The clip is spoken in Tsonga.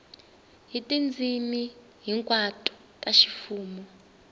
hi tindzimi hinkwato ta ximfumo